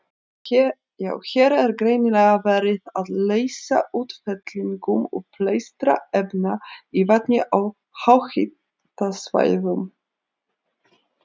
Hér er greinilega verið að lýsa útfellingum uppleystra efna í vatni á háhitasvæðum.